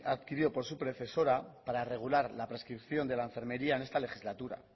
adquirido por su predecesora para regular la prescripción de la enfermería en esta legislatura